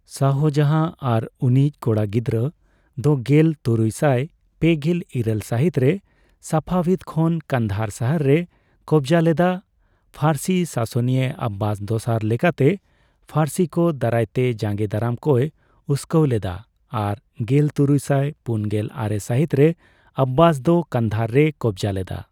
ᱥᱟᱦᱡᱟᱸᱦᱟ ᱟᱨ ᱩᱱᱤᱭᱤᱡ ᱠᱚᱲᱟ ᱜᱤᱫᱽᱨᱟᱹ ᱫᱚ ᱜᱮᱞ ᱛᱩᱨᱩᱭ ᱥᱟᱭ ᱯᱮᱜᱮᱞ ᱤᱨᱟᱹᱞ ᱥᱟᱦᱤᱛ ᱨᱮ ᱥᱟᱯᱷᱟᱣᱤᱫ ᱠᱷᱚᱱ ᱠᱚᱸᱫᱟᱦᱟᱨ ᱥᱟᱦᱟᱨ ᱨᱮᱭ ᱠᱚᱵᱚᱡ ᱞᱮᱫᱟ, ᱯᱷᱟᱹᱨᱥᱤ ᱥᱟᱥᱚᱱᱤᱭᱟᱹ ᱚᱵᱵᱟᱥ ᱫᱚᱥᱟᱨ ᱞᱮᱠᱟᱛᱮ ᱯᱷᱟᱹᱨᱥᱤ ᱠᱚ ᱫᱟᱨᱟᱭᱛᱮ ᱡᱟᱸᱜᱮ ᱫᱟᱨᱟᱢ ᱠᱚᱭ ᱩᱥᱠᱟᱹᱣ ᱞᱮᱫᱟ, ᱟᱨ ᱜᱮᱞ ᱛᱩᱨᱩᱭᱥᱟᱭ ᱯᱩᱱᱜᱮᱞ ᱟᱨᱮ ᱥᱟᱦᱤᱛ ᱨᱮ ᱚᱵᱵᱟᱥ ᱫᱚ ᱠᱟᱸᱫᱟᱦᱟᱨ ᱨᱮᱭ ᱠᱚᱵᱚᱡ ᱞᱮᱫᱟ᱾